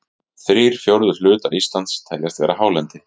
Þrír fjórðu hlutar Íslands teljast vera hálendi.